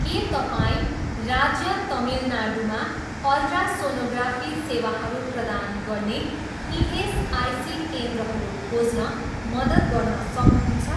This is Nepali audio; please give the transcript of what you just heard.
के तपाईँँ राज्य तमिलनाडूमा अल्ट्रासोनोग्राफी सेवाहरू प्रदान गर्ने इएसआइसी केन्द्रहरू खोज्न मद्दत गर्न सक्नुहुन्छ?